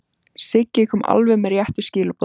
Siggi kom alveg með réttu skilaboðin.